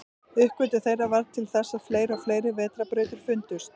Uppgötvun þeirra varð til þess að fleiri og fleiri vetrarbrautir fundust.